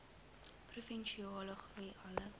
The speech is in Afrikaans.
provinsiale groei alle